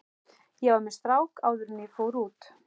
Ég var með strák áður en ég fór út.